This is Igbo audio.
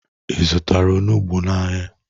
Ị zụtara onugbu n'ahịa?